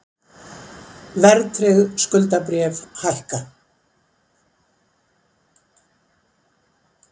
Verðtryggð skuldabréf hækka